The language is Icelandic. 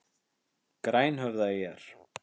Grænhöfðaeyjar